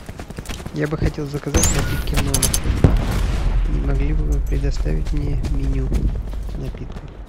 я бы хотел заказать напитки в номер не могли бы вы предоставить мне меню напитков